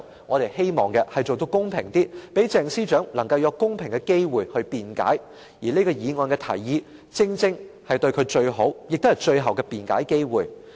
我們希望做到公平些，讓鄭司長能夠有公平的機會去辯解，而這項議案的提議正是給予她最好、最後的辯解機會。